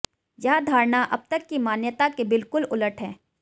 यह धारणा अब तक की मान्यता के बिलकुल उलट है